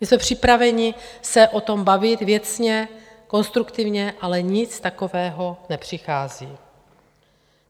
My jsme připraveni se o tom bavit věcně, konstruktivně, ale nic takového nepřichází.